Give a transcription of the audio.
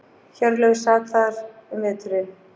Hjörleifur sat þar um veturinn.